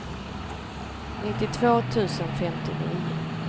nittiotvå tusen femtionio